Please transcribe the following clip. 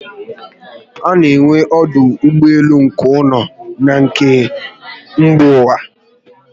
Ana enwe ọdụ ụgbọelu nke ụlọ na na nke mba ụwa